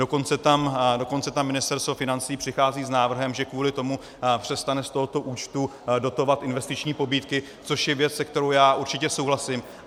Dokonce tam Ministerstvo financí přichází s návrhem, že kvůli tomu přestane z tohoto účtu dotovat investiční pobídky, což je věc, se kterou já určitě souhlasím.